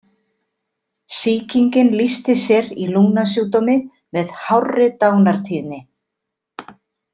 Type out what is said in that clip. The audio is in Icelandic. Sýkingin lýsti sér í lungnasjúkdómi með hárri dánartíðni.